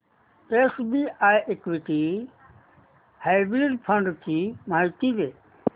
SBI equity hybrid fund ची माहिती दे